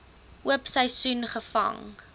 oop seisoen gevang